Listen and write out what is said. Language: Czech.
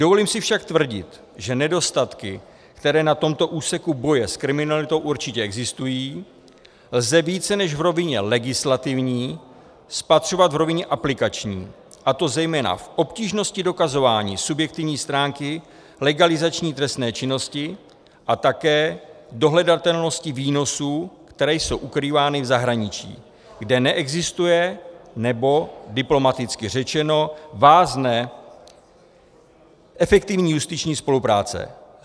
Dovolím si však tvrdit, že nedostatky, které na tomto úseku boje s kriminalitou určitě existují, lze více než v rovině legislativní spatřovat v rovině aplikační, a to zejména v obtížnosti dokazování subjektivní stránky legalizační trestné činnosti a také dohledatelnosti výnosů, které jsou ukrývány v zahraničí, kde neexistuje, nebo diplomaticky řečeno vázne efektivní justiční spolupráce.